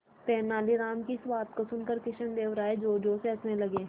तेनालीराम की इस बात को सुनकर कृष्णदेव राय जोरजोर से हंसने लगे